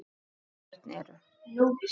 Þeirra börn eru.